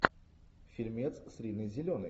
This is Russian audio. фильмец с риной зеленой